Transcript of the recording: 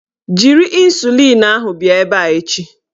Jiri ịnsulịn ahụ bịa ebe a echi!